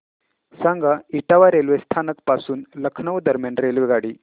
सांगा इटावा रेल्वे स्थानक पासून लखनौ दरम्यान रेल्वेगाडी